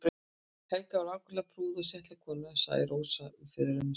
Helga var ákaflega prúð og settleg kona segir Rósa um föðurömmu sína.